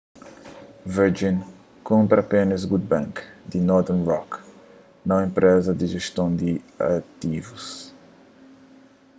virgin kunpra apénas good bank ” di northern rock nau enpreza di jeston di ativus